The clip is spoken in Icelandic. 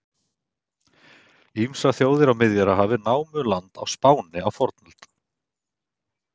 Ýmsar þjóðir á Miðjarðarhafi námu land á Spáni á fornöld.